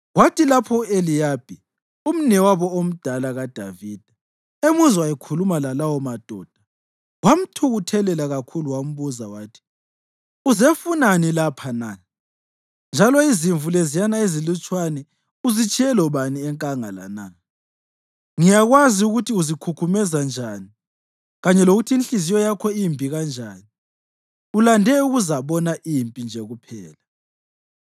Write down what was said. Kwathi lapho u-Eliyabi, umnewabo omdala kaDavida, emuzwa ekhuluma lalawomadoda, wamthukuthelela kakhulu wambuza wathi, “Uzefunani lapha na? Njalo izimvu leziyana ezilutshwane uzitshiye lobani enkangala na? Ngiyakwazi ukuthi uzikhukhumeza njani kanye lokuthi inhliziyo yakho imbi kanjani, ulande ukuzabona impi nje kuphela.”